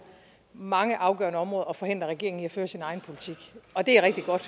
mange afgørende områder at forhindre regeringen i at føre sin egen politik og det er rigtig godt